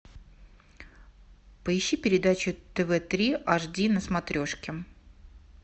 поищи передачу тв три аш ди на смотрешке